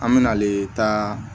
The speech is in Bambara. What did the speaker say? An me na ale ta